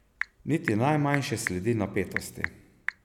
Niti najmanjše sledi napetosti.